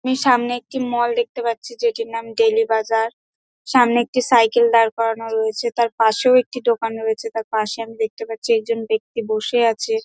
আমি সামনে একটি মল দেখতে পারছি যেটির নাম ডেইলি বাজার। সামনে একটি সাইকেল দাঁড় করানো রয়েছে তার পাশেও একটি দোকান রয়েছে তার পাশে আমি দেখতে পাচ্ছি একজন বেক্তি বসে আছে--